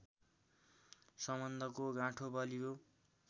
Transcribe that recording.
सम्बन्धको गाँठो बलियो